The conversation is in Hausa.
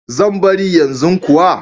Zan bari yanzu kuwa.